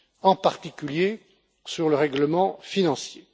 en particulier sur le règlement financier.